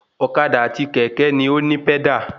Ọ̀kadà àti kẹ̀kẹ́ ni òní pẹ́dà